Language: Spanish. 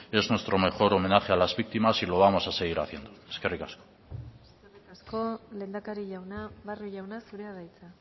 es nuestro mejor homenaje a las víctimas y lo vamos a seguir haciendo eskerrik asko eskerrik asko lehendakari jauna barrio jauna zurea da hitza